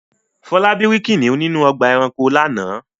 Fọlábí rí kìnnìún ní ọgbà-ẹranko lánàá.